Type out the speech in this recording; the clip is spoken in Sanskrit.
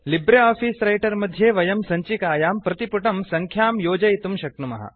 लिब्रे आफीस् रैटर् मध्ये वयं सञ्चिकायां प्रतिपुटं सङ्ख्यां योजयितुं शक्नुमः